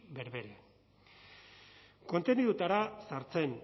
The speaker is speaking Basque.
berberean kontenidoetara sartzen